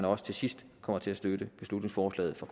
også til sidst kommer til at støtte beslutningsforslaget fra